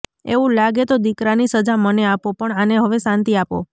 એવું લાગે તો દીકરાની સજા મને આપો પણ આને હવે શાંતિ આપો